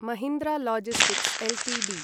Mahindra logistics Ltd